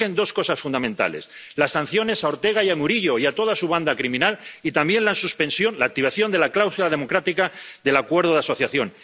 Se exigen dos cosas fundamentales las sanciones a Ortega y a Murillo y a toda su banda criminal, y también la activación de la cláusula democrática del Acuerdo de Asociación.